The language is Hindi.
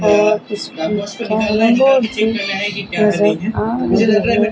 नजर आ रही है।